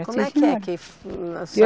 Como é que é que?